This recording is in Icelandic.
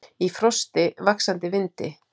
Í frosti, vaxandi vindi.